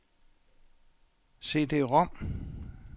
CD-rom